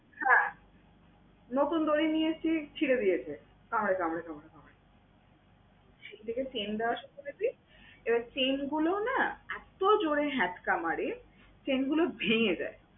হ্যাঁ, নতুন দড়ি নিয়ে এসেছি, ছিঁড়ে দিয়েছে কামড়ে কামড়ে কামড়ে কামড়ে। সেই থেকে chain দেওয়া শুরু করেছি, এবার chain গুলো না এতো জোরে হ্যাঁচকা মারে, chain গুলো ভেঙ্গে যায়।